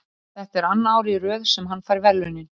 Þetta er annað árið í röð sem hann fær verðlaunin.